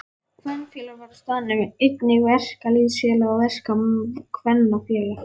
Kvenfélag var á staðnum, einnig verkalýðsfélag og verkakvennafélag.